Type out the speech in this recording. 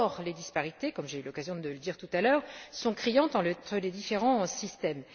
Or, les disparités, comme j'ai eu l'occasion de le dire tout à l'heure, sont criantes entre les différents systèmes.